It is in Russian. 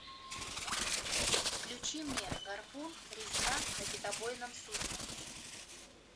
включи мне гарпун резня на китобойном судне